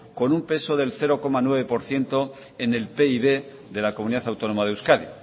con un peso del cero coma nueve por ciento en el pib de la comunidad autónoma de euskadi